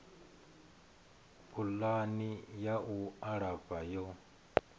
pulani ya u alafha yo